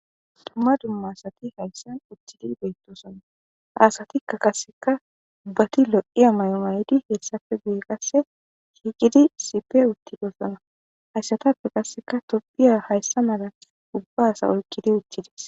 Tumma dumma asati hayssan uttidi beyttosona aasatikka kasseka ubbati lo'iya may'omayidi heessafe guye qasse hiigidi sipe uttidosona hayssatappe kasseka tobiya hayssa mala ubba asa olkidi uththides